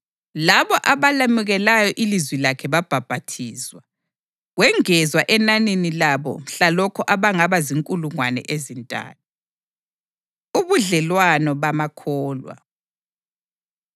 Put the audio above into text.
Labo abalemukelayo ilizwi lakhe babhaphathizwa, kwengezwa enanini labo mhlalokho abangaba zinkulungwane ezintathu. Ubudlelwano Bamakholwa